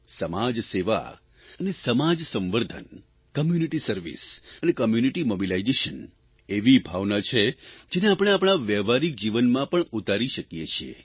સમાજસેવા અને સમાજસંવર્ધન કમ્યુનિરી સર્વિસ અને કોમ્યુનિટી મોબિલાઇઝેશન એવી ભાવના છે જેને આપણે આપણા વહેવારીક જીવનમાં પણ ઉતારી શકીએ છીએ